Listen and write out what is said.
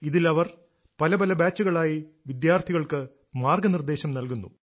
ഇതിൽ അവർ പല പല ബാച്ചുകളായി വിദ്യാർഥികൾക്ക് മാർഗ്ഗനിർദേശം നൽകുന്നു